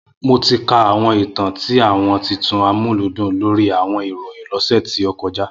Mo ti ka awọn itan ti awọn titun Amuludun lori awọn irohin lo ose to koja